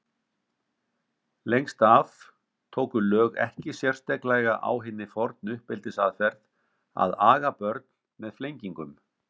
Lengst af tóku lög ekki sérstaklega á hinni fornu uppeldisaðferð að aga börn með flengingum.